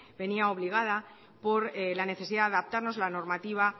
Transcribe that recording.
venía obligada por la necesidad de adaptarnos a la normativa